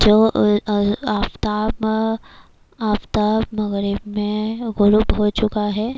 جو ا ا آفتاب آفتاب مغرب مے ہو چکا ہے۔